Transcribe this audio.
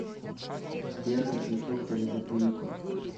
сбер какие фрукты любит бурико